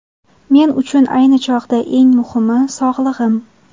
Men uchun ayni chog‘da eng muhimi –– sog‘lig‘im.